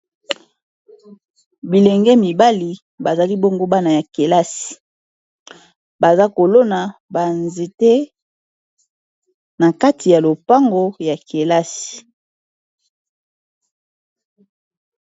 bilenge mibali bazali bongo bana ya kelasi baza kolona banzete na kati ya lopango ya kelasi